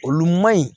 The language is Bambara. Olu ma ɲi